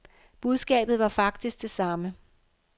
Budskabet var faktisk det samme.